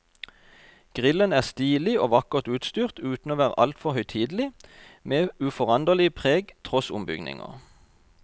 Grillen er stilig og vakkert utstyrt uten å være altfor høytidelig, med uforanderlig preg tross ombygginger.